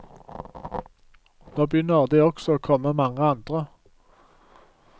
Nå begynner det også å komme mange andre.